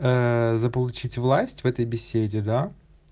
заполучить власть в этой беседе да